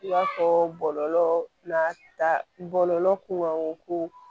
I b'a fɔ bɔlɔlɔ n'a ta bɔlɔlɔ kun